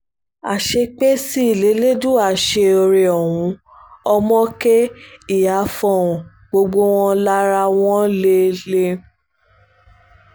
àṣé pé sí lẹ̀lẹ́dùwà ṣe oore ohun ọmọ kẹ́ ìyá fohùn gbogbo wọn lára wọn lé lé